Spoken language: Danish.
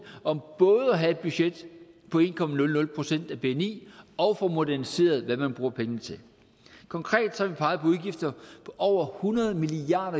om både at have et budget på en procent af bni og få moderniseret hvad man bruger pengene til konkret har vi peget på udgifter på over hundrede milliard